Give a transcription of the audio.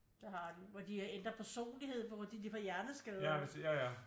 Det har de hvor de har ændret personlighed hvor de får hjerneskader